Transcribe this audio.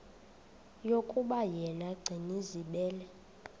yokuba yena gcinizibele